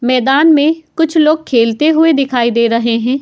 मैदान में कुछ लोग खेलते हुए दिखाई दे रहे हैं। .